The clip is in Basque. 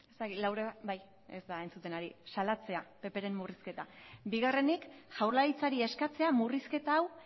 ez dakit laura ez baita entzuten ari bai salatzea ppren murrizketa bigarrenik jaurlaritzari eskatzea murrizketa hau